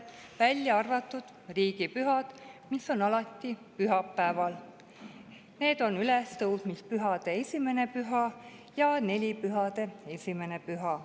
nende riigipühade puhul, mis on alati pühapäeval – ülestõusmispühade 1. püha ja nelipühade 1. püha.